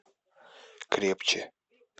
крепче